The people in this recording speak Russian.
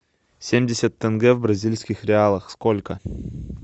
семьдесят тенге в бразильских реалах сколько